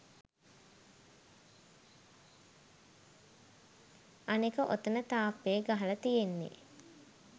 අනෙක ඔතන තාප්පෙ ගහල තියෙන්නෙ